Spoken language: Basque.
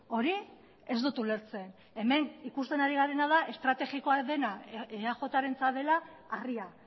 hori ez dut ulertzen hemen ikusten ari garena da estrategikoa dena eajrentzat dela harria